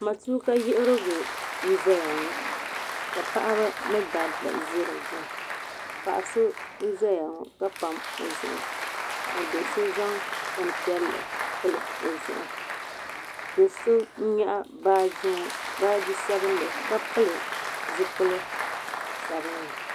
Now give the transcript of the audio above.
Matuuka yiɣirigu n zaya ŋɔ ka paɣaba ni dabba zi di gbuni paɣa so n zaya ŋɔ ka pami o zuɣu ka do so zaŋ bini piɛlli pili o zuɣu do so n yɛɣi baaji ŋɔ baaji sabinli ka pili zipili sabinli.